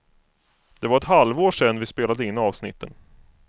Det var ett halvår sedan vi spelade in avsnitten.